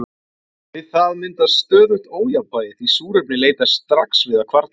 við það myndast „stöðugt ójafnvægi“ því súrefnið leitast strax við að hvarfast